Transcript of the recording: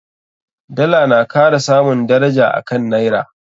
Dala na kara samun daraja a kan Naira.